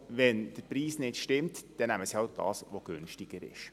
Wenn der Preis nicht stimmt, nehmen sie das, was günstiger ist.